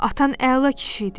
Atan əla kişi idi.